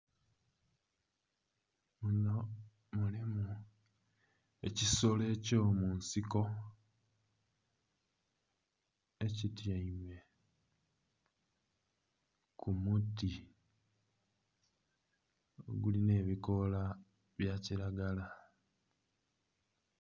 Muno mulimu ekisolo eky'omunsiko ekityaime ku muti oguli n'ebikoola bya kiragala.